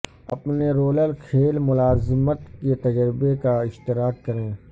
اپنے رولر کھیل ملازمت کے تجربے کا اشتراک کریں